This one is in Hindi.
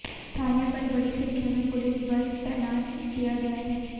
थाने पर बड़ी संख्या में पुलिस बल तैनात किया गया है